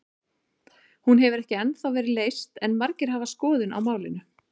Hún hefur ekki ennþá verið leyst en margir hafa skoðun á málinu.